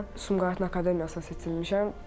Sumqayıtın akademiyasına seçilmişəm.